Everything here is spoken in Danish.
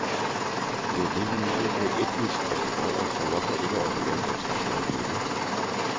Det er det vi nyder på etniske restauranter, så hvorfor ikke også lave den slags mad hjemme.